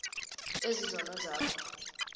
ezi zono zakho